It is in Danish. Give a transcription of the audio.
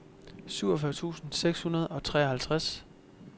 syvogfyrre tusind seks hundrede og treoghalvtreds